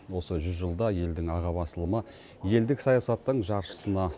осы жүз жылда елдің аға басылымы елдік саясаттың жаршысына